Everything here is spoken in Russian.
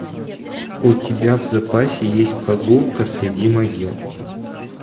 у тебя в запасе есть прогулка среди могил